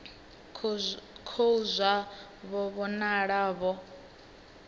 khou zwa vho vhonala vho